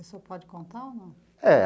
E o senhor pode contar ou não?